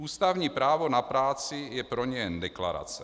Ústavní právo na práci je pro ně jen deklarace.